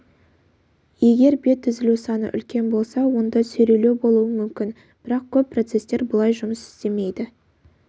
егер бет үзілу саны үлкен болса онда сүйрелеу болуы мүмкін бірақ көп процестер бұлай жұмыс істемейді